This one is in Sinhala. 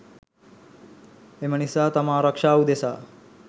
එම නිසා තම ආරක්‍ෂාව උදෙසා